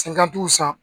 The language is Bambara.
Se kan t'u san